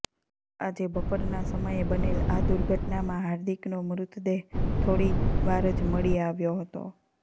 આજે બપોરનાં સમયે બનેલ આ દુર્ઘટનામાં હાર્દિકનો મૃતદેહ થોડીવાર જ મળી આવ્યો હતો